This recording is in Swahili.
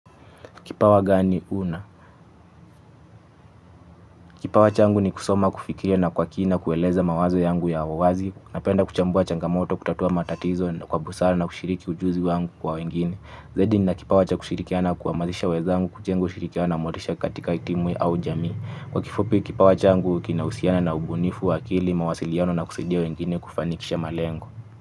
Kipawa gani una? Kipawa changu ni kusoma kufikiria na kwa kina kueleza mawazo yangu ya wazi na penda kuchambua changamoto kutatua matatizo na kwa busara na kushiriki ujuzi wangu kwa wengine. Zaidi nina kipawa cha kushirikiana kuamazisha wezangu kujenga ushirikiana na motisha katika timu au jamii. Kwa kifupi kipawa changu kina usiana na ubunifu wa akili mawasiliano na kusaidia wengine kufanikisha malengo.